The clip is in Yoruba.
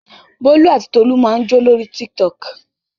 Bólú àti Tolú máa ń jó lórí Tiktok.